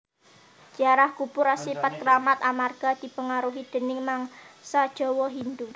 Ziarah kubur asipat kramat amarga dipengaruhi déning mangsa Jawa Hindhu